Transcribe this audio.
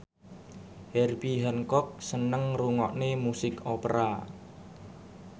Herbie Hancock seneng ngrungokne musik opera